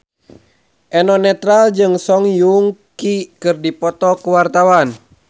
Eno Netral jeung Song Joong Ki keur dipoto ku wartawan